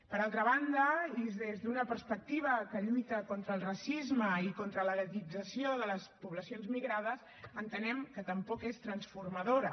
per altra banda i des d’una perspectiva que lluita contra el racisme i contra la guetització de les poblacions migrades entenem que tampoc és transformadora